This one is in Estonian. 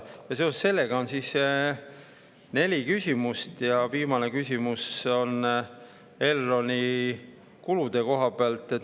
Seoses sellega on meil neli küsimust, viimane küsimus on Elroni kulude kohta.